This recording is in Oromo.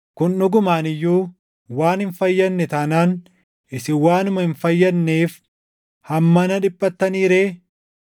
Kun dhugumaan iyyuu waan hin fayyadne taanaan isin waanuma hin fayyadneef hammana dhiphattanii ree?